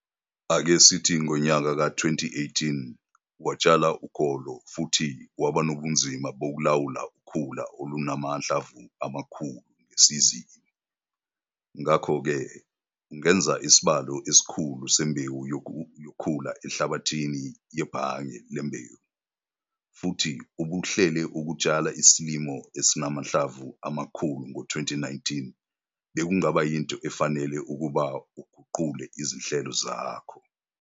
Ake sithi ngonyaka ka-2018 watshala ukolo futhi waba nobunzima bokulawula ukhula olunamahlamvu amakhulu ngesizini, ngakho ke ukungeza isibalo esikhulu sembewu yokhula enhlabathini yebhange lembewu, futhi ubuhlele ukutshala isilimo esinamahlamvu amakhulu ngo-2019 bekungaba yinto efanele ukuba uguqule izinhlelo zakho.